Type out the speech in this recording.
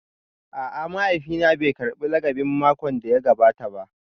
A'a, mahaifina bai karbi lakabin makon da ya gabata ba